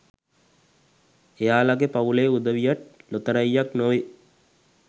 එයාලගේ පවුලේ උදවියට් ලොතරැයියක් නොවේ